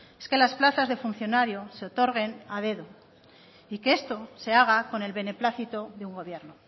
es que las plazas de funcionario se otorguen a dedo y que esto se haga con el beneplácito de un gobierno